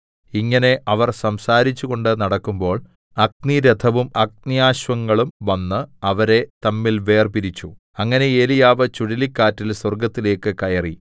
ഇങ്ങനെ അവർ സംസാരിച്ചുകൊണ്ട് നടക്കുമ്പോൾ അഗ്നിരഥവും അഗ്ന്യശ്വങ്ങളും വന്ന് അവരെ തമ്മിൽ വേർപിരിച്ചു അങ്ങനെ ഏലീയാവ് ചുഴലിക്കാറ്റിൽ സ്വർഗ്ഗത്തിലേക്ക് കയറി